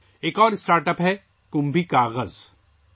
ایک اور startup ' Kumbhi Kagaz' ہے